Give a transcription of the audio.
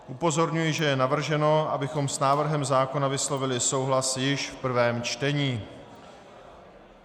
Upozorňuji, že je navrženo, abychom s návrhem zákona vyslovili souhlas již v prvém čtení.